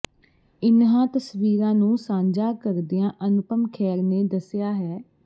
ਇਨ੍ਹਾਂ ਤਸਵੀਰਾਂ ਨੂੰ ਸਾਂਝਾ ਕਰਦਿਆਂ ਅਨੁਪਮ ਖੇਰ ਨੇ ਦੱਸਿਆ ਹੈ